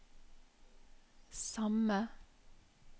samme